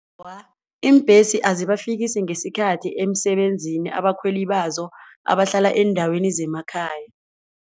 Awa, iimbhesi azibafikisi ngesikhathi emsebenzini abakhweli bazo abahlala eendaweni zemakhaya.